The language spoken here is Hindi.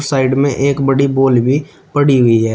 साइड में एक बड़ी बाल भी पड़ी हुई है।